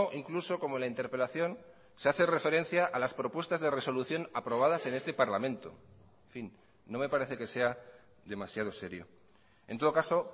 incluso como la interpelación se hace referencia a las propuestas de resolución aprobadas en este parlamento en fin no me parece que sea demasiado serio en todo caso